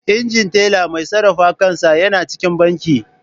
Injin Teller Mai sarrafa kansa yana cikin banki.